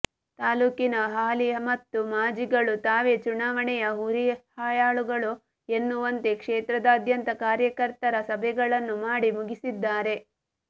ತಾಲೂಕಿನ ಹಾಲಿ ಮತ್ತು ಮಾಜಿಗಳು ತಾವೇ ಚುನಾವಣೆಯ ಹುರಿಯಾಳುಗಳು ಎನ್ನುವಂತೆ ಕ್ಷೇತ್ರದಾದ್ಯಂತ ಕಾರ್ಯಕರ್ತರ ಸಭೆಗಳನ್ನು ಮಾಡಿ ಮುಗಿಸಿದ್ದಾರೆ